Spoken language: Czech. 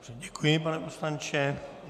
Děkuji, pane poslanče.